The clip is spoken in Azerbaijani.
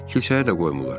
Kilsəyə də qoymurlar.